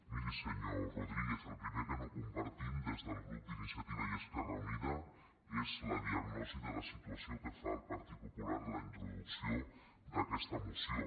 miri senyor rodríguez el primer que no compartim des del grup d’iniciativa i esquerra unida és la diagnosi de la situació que fa el partit popular a la introducció d’aquesta moció